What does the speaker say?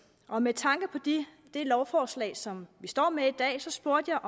og med tanke på det lovforslag som vi står med i dag spurgte jeg